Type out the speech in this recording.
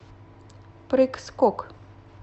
прыг скок